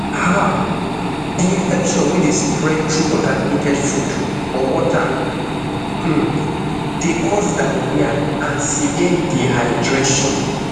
um di infection wey dey spread through contaminated food or water um dey cause diarrhoea and severe dehydration